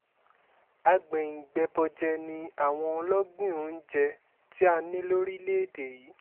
àgbẹ̀yìn-bẹbọ́jẹ́ ni àwọn ọlọ́gbìn oúnjẹ tí a a ní lórílẹ̀‐èdè yìí